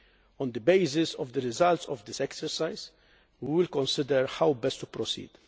On the basis of the results of this exercise, we will consider how best to proceed.